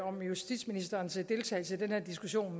om justitsministerens deltagelse i den her diskussion